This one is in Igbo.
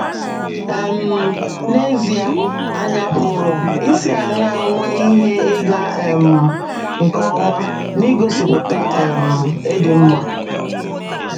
um N’ezie, ànyị pụrụ isi aṅaa nwee ihe ịga um nke ọma n’igosipụta um ịdị mma?